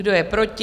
Kdo je proti?